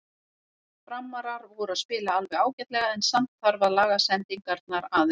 Framarar voru að spila alveg ágætlega en samt þarf að laga sendingarnar aðeins.